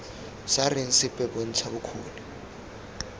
sa reng sepe bontsha bokgoni